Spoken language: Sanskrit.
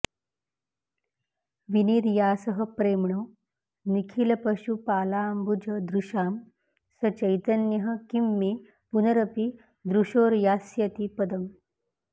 विनिर्यासः प्रेम्णो निखिलपशुपालाम्बुजदृशां स चैतन्यः किं मे पुनरपि दृशोर्यास्यति पदम्